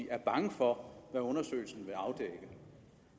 er bange for hvad undersøgelsen vil afdække